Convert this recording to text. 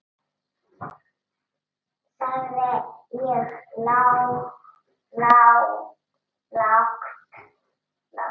sagði ég lágt.